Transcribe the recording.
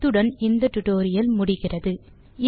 இத்துடன் இந்த டுடோரியல் முடிகிறது